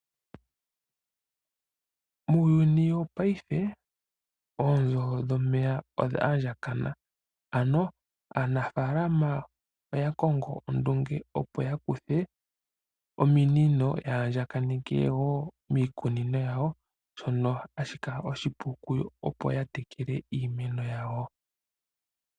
Muuyuni wo payife ominino dhomeya odha andjakana ano aanafaalama oya longo ondunge opo ya kuthe ominino ya andjakaneke wo miikunino yawo shoka sha ninga oshipu opo ya tekele iikunino yawo.